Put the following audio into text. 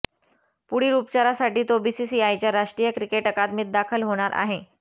पुढील उपचारासाठी तो बीसीसीआयच्या राष्ट्रीय क्रिकेट अकादमीत दाखल होणार आहे